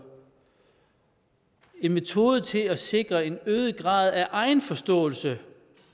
en metode til at sikre en øget grad af egenforståelse